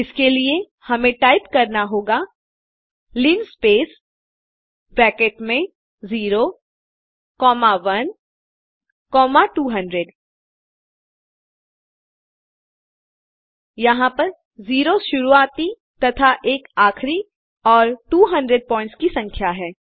इसके लिए हमें टाइप करना होगा लिनस्पेस ब्रैकेट में 0 कॉमा 1 कॉमा 200 यहाँ पर 0 शुरुआती तथा 1 आखरी और 200 पॉइंट्स की संख्या है